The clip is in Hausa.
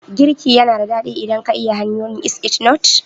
Girki yana da daɗin yi idan ka iya hanyoyin, is it not?